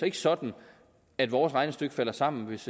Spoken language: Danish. ikke sådan at vores regnestykke falder sammen hvis